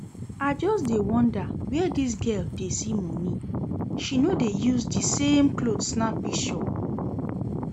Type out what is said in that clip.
I just dey wonder where dis girl dey see money, she no dey use the same cloth snap pishure